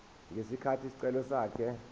ngesikhathi isicelo sakhe